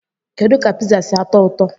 Kedu ka Pizza si atọ ụtọ?